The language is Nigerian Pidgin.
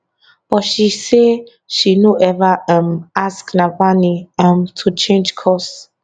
but she say she no ever um ask navalny um to change course